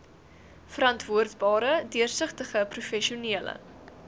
verantwoordbare deursigtige professionele